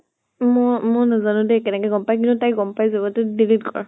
মই নাজানো দে কেনেকে গম পায়, কিন্তু তাই গম পাই যাব। এইটো delete কৰ।